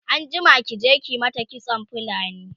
anjima ki je ki mata kitson fulni!